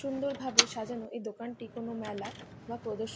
সুন্দরভাবে সাজানো এই দোকানটি কোন মেলা বা প্রদর্শ --